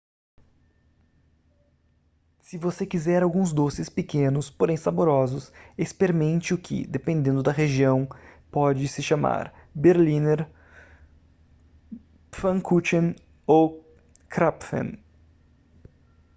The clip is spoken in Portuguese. se você quiser alguns doces pequenos porém saborosos experimente o que dependendo da região pode se chamar berliner pfannkuchen ou krapfen